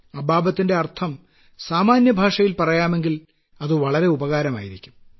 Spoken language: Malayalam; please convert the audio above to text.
അബാബത്തിന്റെ അർത്ഥം സാമാന്യഭാഷയിൽ പറയാമെങ്കിൽ അതു വളരെ ഉപകാരമായിരിക്കും